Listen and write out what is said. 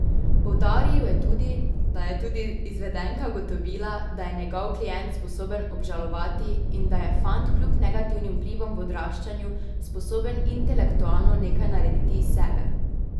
Poudaril je tudi, da je tudi izvedenka ugotovila, da je njegov klient sposoben obžalovati in da je fant kljub negativnim vplivom v odraščanju sposoben intelektualno nekaj narediti iz sebe.